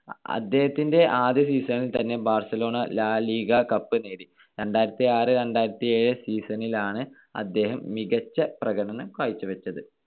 അദ്ദേഹത്തിന്റെ ആദ്യ season ൽ തന്നെ ബാർസലോണ ലാ ലിഗ കപ്പ് നേടി. രണ്ടായിരത്തിയാറ്‌ - രണ്ടായിരത്തിയേഴ് season ലാണ് അദ്ദേഹം മികച്ച പ്രകടനം കാഴ്ച്ച വെച്ചത്.